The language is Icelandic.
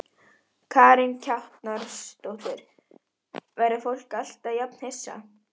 Ég get verið herslan utanum hjartað þitt.